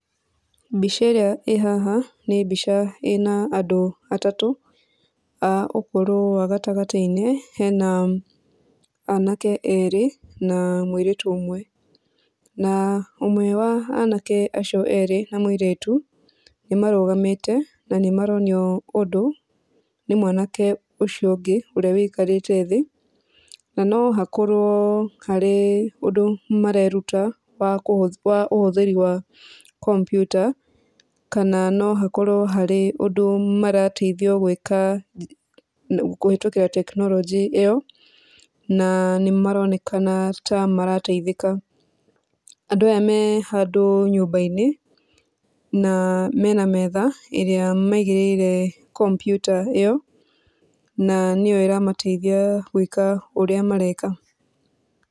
Mbica ĩrĩa ĩĩ haha nĩ mbica ĩna andũ atatũ, a ũkũrũ wa gatagatĩ-inĩ, hena anake erĩ na mũirĩtu ũmwe, na ũmwe a anake acio erĩ na mũirĩtu nĩ marũgamĩte na nĩ maronio ũndũ nĩ mwanake ũcio ũngĩ ũrĩa wũikarĩte thĩ, na nohakorwo harĩ ũndũ mareruta wa ũhũthĩri wa komputa kana no hakorwo harĩ ũndũ marateithio gwĩka kũhetũkĩra tekinoronjĩ ĩyo, na nĩ maronekana ta marateithĩka, andũ aya me handũ nyũmba-inĩ na mena metha ĩrĩa maigĩrĩire komputa ĩyo na nĩyo ĩramateithia gwĩka ũrĩa mareka.